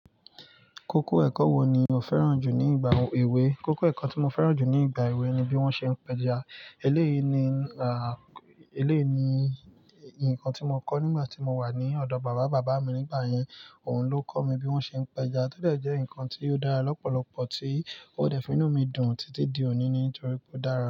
Kókó ẹ̀kọ́ wo ni o fẹ́ràn jù ní ìgbà èwe? Kókó ẹ̀kọ́ tí mo fẹ́ràn jù ní ìgbà èwe ni bí wón ṣe ń pẹja, èlèyí ńì eléyìí ni, à, eléyìí ni nǹkan tí mo kọ́ nígbà tí mo wà ní ọ̀dọ̀ bàbá bàbá mi. Nígbà yẹn, òun ló kọ́ mi bí wón ṣe ń pẹja. Tẹ́lẹ̀ jẹ́ ǹkan tí ó dára lọ́pọ̀lọpọ̀ tí ó dẹ̀ fi inú mi dùn títí di òní nítorí pé ó dára.